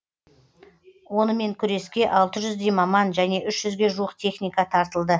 онымен күреске алты жүздей маман және үш жүзге жуық техника тартылды